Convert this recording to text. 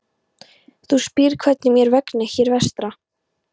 Þú spyrð hvernig mér vegni hér vestra.